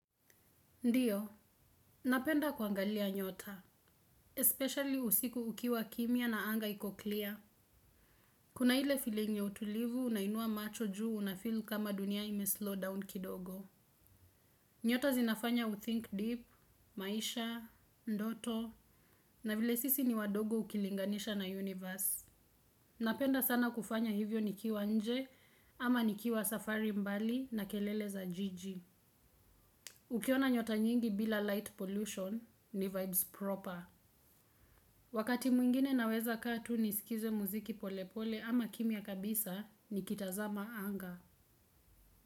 Ndiyo, napenda kuangalia nyota, especially usiku ukiwa kimya na anga iko clear. Kuna ile feeling ya utulivu unainua macho juu unafeel kama dunia ime slow down kidogo. Nyota zinafanya uthink deep, maisha, ndoto, na vile sisi ni wadogo ukilinganisha na universe. Napenda sana kufanya hivyo nikiwa nje, ama nikiwa safari mbali na kelele za jiji. Ukiona nyota nyingi bila light pollution ni vibes proper. Wakati mwingine naweza kaa tu nisikize muziki pole pole ama kimya kabisa nikitazama anga.